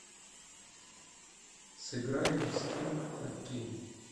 сыграем в скил хоккей